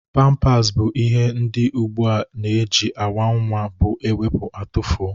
Pampas bụ ihe ndị ugbu a ji awa nwa bụ ewepu atufoo